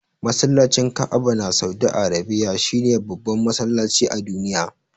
Masallacin Ka'aba na saudi Arabiya shine babban masallaci a duniya.